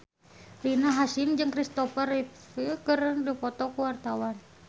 Rina Hasyim jeung Kristopher Reeve keur dipoto ku wartawan